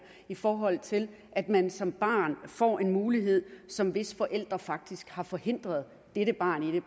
i forhold til at man som barn får en mulighed som dets forældre faktisk har forhindret dette barn i